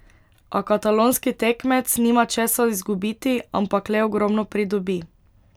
A katalonski tekmec nima česa izgubiti, ampak le ogromno pridobi.